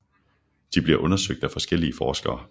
De bliver undersøgt af forskellige forskere